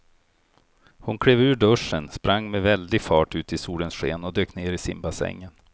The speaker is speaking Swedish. Hon klev ur duschen, sprang med väldig fart ut i solens sken och dök ner i simbassängen.